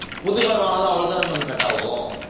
புது card வாங்குனாலும் அவ்ளோ தான maam cut ஆவும்